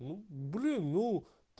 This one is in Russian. блин ну